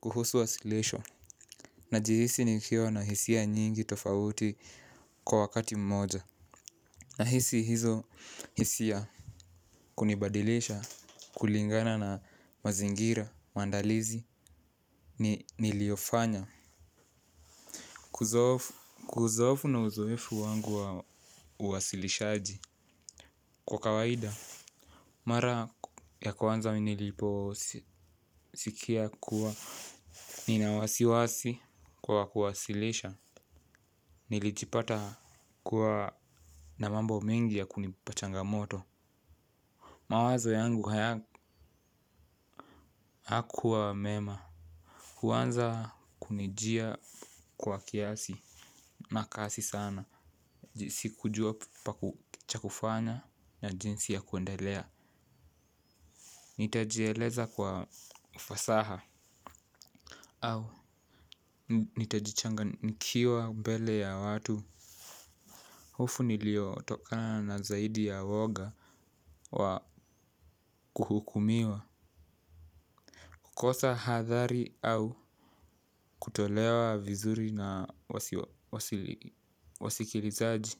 Kuhusu wasilisho, na jihisi nikiwa na hisia nyingi tofauti kwa wakati mmoja. Na hisi hizo hisia kunibadilisha, kulingana na mazingira, mandalizi, niliofanya. Kuzoofu na uzoefu wangu uwasilishaji kwa kawaida. Mara ya kwanza niliposikia kuwa ninawasiwasi kwa kuwasilisha. Nilijipata kuwa na mambo mengi ya kunipachanga moto. Mawazo yangu hayakuwa mema. Kwanza kunijia kwa kiasi. Makasi sana. Sikujua pa kuchakufanya na jinsi ya kuendelea. Nitajieleza kwa ufasaha. Au, nitajichanga nikiwa mbele ya watu. Hofu niliyotokana nazaidi ya woga Wakuhukumiwa. Kukosa hadhari au kutolewa vizuri na wasikilizaji.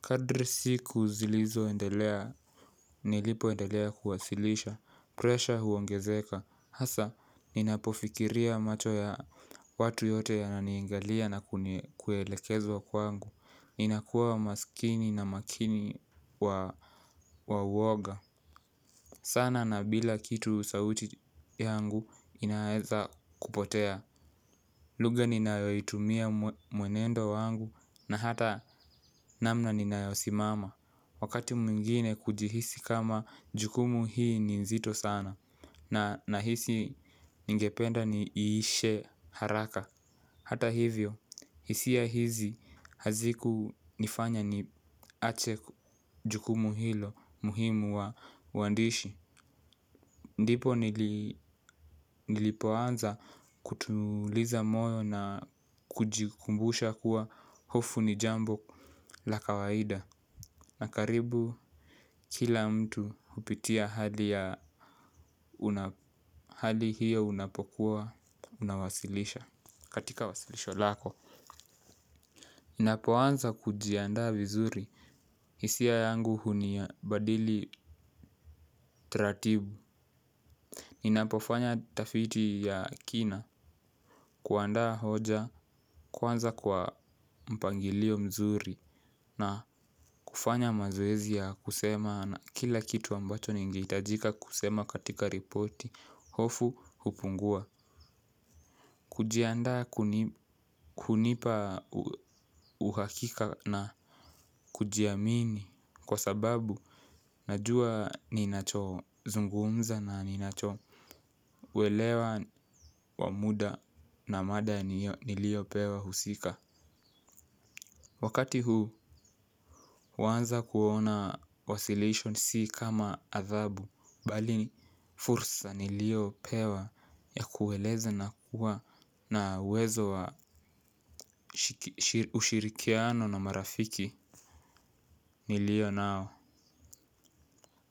Kadri siku zilizo endelea nilipo endelea kuwasilisha Pressure huongezeka hasa, ninapofikiria macho ya watu yote yananiangalia na kuelekezwa kwangu. Ninakuwa maskini na makini wa uwoga sana na bila kitu sauti yangu inaeza kupotea. Lugha ninayoitumia mwenendo wangu na hata namna ninayosimama. Wakati mwingine kujihisi kama jukumu hii ni nzito sana. Na nahisi ningependa ni iishe haraka. Hata hivyo hisia hisi hazikunifanya niache jukumu hilo muhimu wa uandishi. Ndipo nilipoanza kutuliza moyo na kujikumbusha kuwa hofu ni jambo la kawaida. Nakaribu kila mtu hupitia hali ya hali hiyo unapokuwa unawasilisha. Katika wasilisho lako. Inapoanza kujiandaa vizuri hisia yangu huni ya badili taratibu. Ninapofanya tafiti ya kina kuandaa hoja kwanza kwa mpangilio mzuri na kufanya mazoezi ya kusema na kila kitu ambacho ningehitajika kusema katika ripoti. Hofu hupungua. Kujiandaa kunipa uhakika na kujiamini. Kwa sababu najua ninacho zungumza na ninacho. Welewa wamuda na mada nilio pewa husika. Wakati huu huanza kuona wasilisho si kama athabu bali ni fursa ni liyo pewa ya kueleza na kuwa na uwezo wa ushirikiano na marafiki. Nilio nao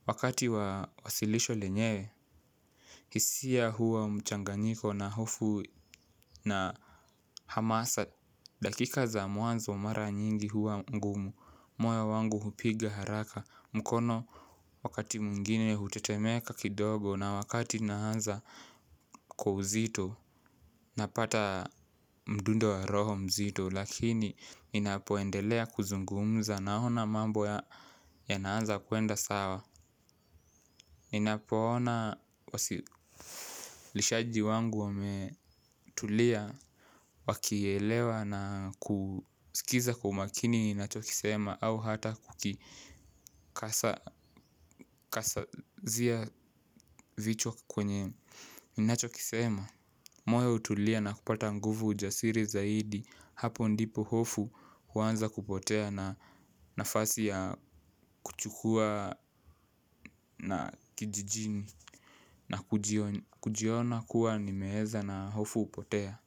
wakati wa wasilisho lenyewe hisia huwa mchanganyiko na hofu na hamasa dakika za mwanzo mara nyingi huwa ngumu moyo wangu hupiga haraka mkono wakati mwingine hutetemeka kidogo na wakati nahanza kwa uzito. Napata mdundo wa roho mzito lakini ninapoendelea kuzungumza naona mambo ya naanza kuenda sawa. Ninapoona wasilishaji wangu wame tulia wakielewa na kusikiza kwa umakini ninachokisema au hata kukasazia vichwa kwenye ninacho kisema moyo hutulia na kupata nguvu ujasiri zaidi hapo ndipo hofu huanza kupotea na nafasi ya kuchukua na kijijini na kujiona kuwa nimeeza na hofu hupotea.